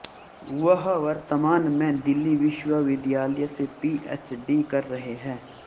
वह वर्तमान में दिल्ली विश्वविद्यालय से पीएचडी कर रहे है